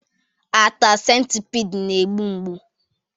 Ata centipede na-egbu mgbu